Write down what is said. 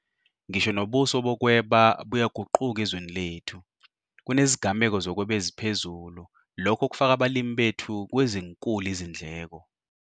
Ngisho nobuso bokweba buyaguquka ezweni lethu - kunezigameko zokweba eziphezulu lokho kufaka abalimi bethu kwezinkulu izindleko.